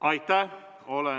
Aitäh!